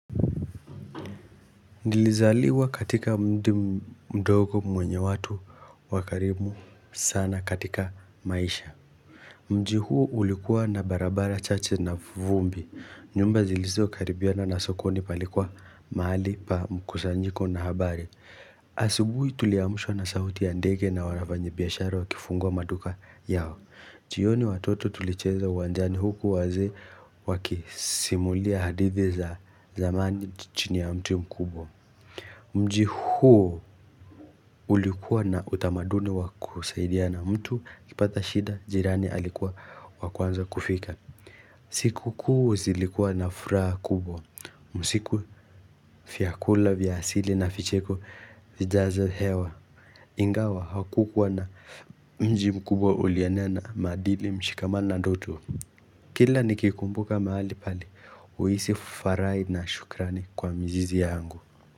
Nilizaliwa katika mdi mdogo mwenye watu wakarimu sana katika maisha. Mji huo ulikuwa na barabara chache na vumbi. Nyumba zilizo karibiana na sokoni palikuwa mahali pa mkusanyiko na habari. Asubui tuliamshwa na sauti ya ndege na wavanyi biashara wakifungua maduka yao. Jioni watoto tulicheza uwanjani huku wazee wakisimulia hadithi za zamani chini ya mti mkubwa Mji huo ulikuwa na utamaduni waku saidia na mtu ukipata shida jirani alikuwa wa kwanza kufika siku kuu zilikuwa na furaha kubwa usiku fiakula vya asili na ficheko vijaze hewa Ingawa hakukuwa na mji mkubwa uliania na madili mshikamano na ndoto Kila nikikumbuka mahali pale uisi fufarai na shukrani kwa mjizi yangu.